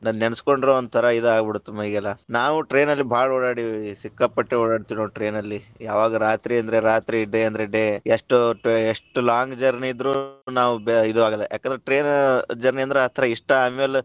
ಅಬಬ ಅದನ್ನ ನೆನಸ್ಕೊಂಡರ ವಂತರಾ ಇದ ಆಗ್ಬಿಡತ್ತ ಮೈಗೆಲ್ಲಾ, ನಾವ್ train ಅಲ್ಲಿ ಬಾಳ ಓಡಾಡಿದಿವಿ ಸಿಕ್ಕಾಪಟ್ಟೆ ಓಡಾಡತೇವ್ ನೋಡ್ train ಅಲ್ಲಿ, ಯಾವಾಗ ರಾತ್ರಿ ಅಂದ್ರ ರಾತ್ರಿ day ಅಂದ್ರ day ಎಷ್ಟೋ ಎಷ್ಟು long journey ಇದ್ರು ನಾವ ಇದು ಆಗಲ್ಲಾ, ಯಾಕಂದ್ರ train journey ಅಂದ್ರ ಆತರಾ ಇಷ್ಟ ಆಮೇಲೆ.